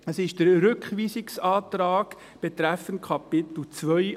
– Es ist der Rückweisungsantrag an die GSoK betreffend Kapitel II.